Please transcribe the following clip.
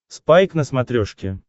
спайк на смотрешке